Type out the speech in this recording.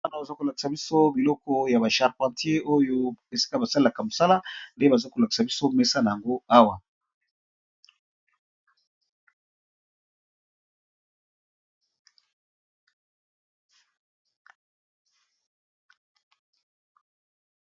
Awa bazolakisa biso biloko ya ba charpentier oyo esika basalelaka musala nde bazo lakisa biso Awa.